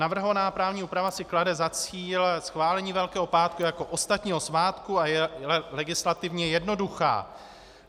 Navrhovaná právní úprava si klade za cíl schválení Velkého pátku jako ostatního svátku a je legislativně jednoduchá.